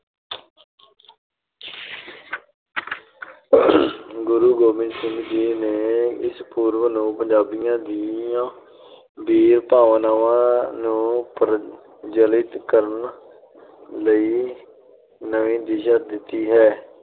ਗੁਰੂ ਗੋਬਿੰਦ ਸਿੰਘ ਜੀ ਨੇ, ਇਸ ਪੁਰਬ ਨੂੰ, ਪੰਜਾਬੀਆਂ ਦੀਆਂ ਬੀਰ-ਭਾਵਨਾਵਾਂ ਨੂੰ ਪ੍ਰਜਵੱਲਿਤ ਕਰਨ ਲਈ ਨਵੀਂ ਦਿਸ਼ਾ ਦਿੱਤੀ ਹੈ।